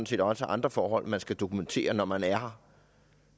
set også andre forhold man skal dokumentere når man er her